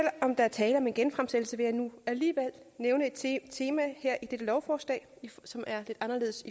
om der er tale om en genfremsættelse vil jeg nu alligevel nævne et tema i dette lovforslag som er lidt anderledes